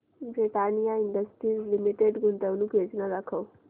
Britannia industries limited गुंतवणूक योजना दाखव